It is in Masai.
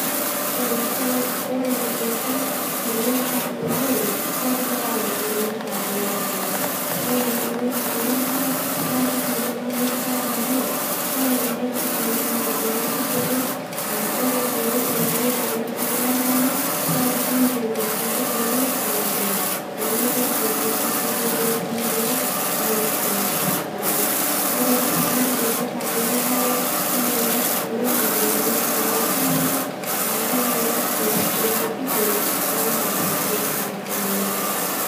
Enchan ore enchan tenesha oleng naa keyau oloirrag ore oloirrag lenkare naa kitanyamalisho amu kelelek itanyamal inkaitubulu aa ore pee elotu oloirrag lenkare naa kinyial inkaitubulu temukunta nemitoki inkaitubului inonok aisho tesidai ore sii oloirrag lenkare kelelek itanyamal manyisho oltung'anak akelelek enap intokiting tonkajijik oltung'anak.